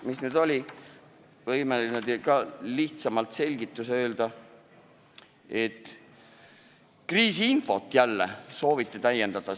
Teise muudatuse kohta võin teile ka lihtsalt selgituseks öelda, et jälle sooviti täiendada kriisiinfoga seonduvat.